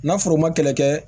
Na foro ma kɛlɛ kɛ